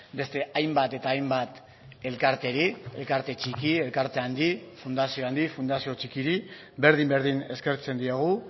beste hainbat eta hainbat elkarteri elkarte txiki elkarte handi fundazio handi fundazio txikiri berdin berdin eskertzen diogu